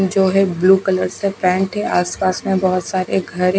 जो है blue colour की पैंट थी आस-पास में बहुत सारे घर हैं।